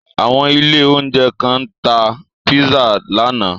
Àwọn ilé-oúnjẹ kan tá pizza lánàá.